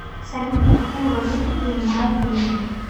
салют какую валюту принимают в риме